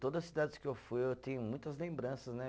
Todas as cidades que eu fui, eu tenho muitas lembranças, né?